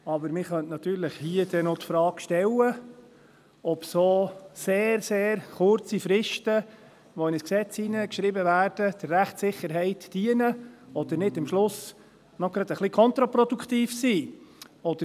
Aber man könnte natürlich hier noch die Frage stellen, ob solch sehr, sehr kurze Fristen, die in ein Gesetz hineingeschrieben werden, der Rechtssicherheit dienen oder am Ende nicht gar ein bisschen kontraproduktiv sind.